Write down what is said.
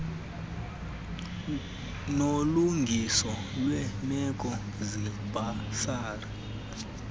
nolungiso lweemeko zebhasari